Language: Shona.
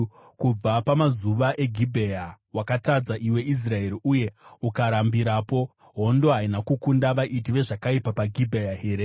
“Kubva pamazuva eGibhea, wakatadza, iwe Israeri, uye ukarambirapo. Hondo haina kukunda vaiti vezvakaipa paGibhea here?